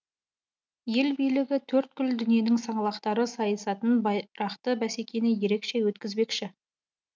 ел билігі төрткүл дүниенің саңлақтары сайысатын байрақты бәсекені ерекше өткізбекші